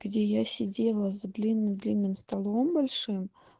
где я сидела за длинным-длинным столом большим